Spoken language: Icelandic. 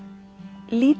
lítið